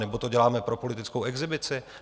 Nebo to děláme pro politickou exhibici?